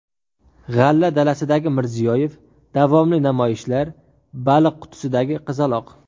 G‘alla dalasidagi Mirziyoyev, davomli namoyishlar, baliq qutisidagi qizaloq.